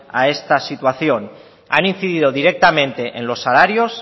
a esta situación han incidido directamente en los salarios